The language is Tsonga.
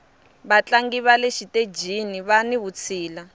vatlangi vale xitejini vani vutshila